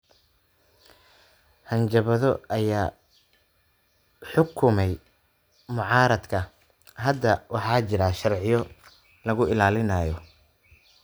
Hanjabaado ayaa xukumay mucaaradka. Hadda waxaa jira sharciyo lagu ilaalinayo.